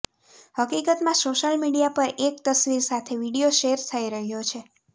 હકીકતમાં social media પર એક તસવીર સાથે વીડિયો શેર થઈ રહ્યો છે